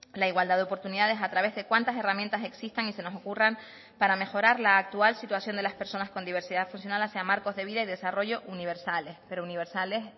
la igualdad de oportunidades a través de cuantas herramientas existan y se nos ocurran para mejorar la actual situación de las personas con diversidad funcional hacia marcos de vida y desarrollo universales pero universales